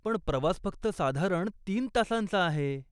पण प्रवास फक्त साधारण तीन तासांचा आहे.